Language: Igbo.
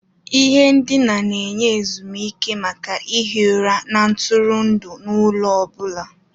Ihe ndina na-enye ezumike maka ihi ụra na ntụrụndụ n'ụlọ ọ bụla.